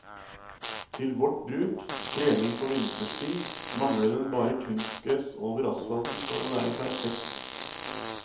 Til vårt bruk, trening på vinterstid, mangler den bare kunstgress over asfalten for å være perfekt.